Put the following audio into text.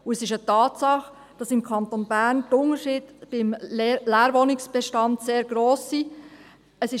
Es ist eine Tatsache, dass im Kanton Bern die Unterschiede im Leerwohnungsbestand sehr gross sind.